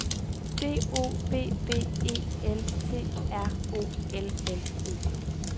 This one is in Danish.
D O B B E L T R O L L E